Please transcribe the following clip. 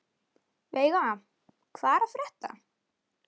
Veiga, hvað er að frétta?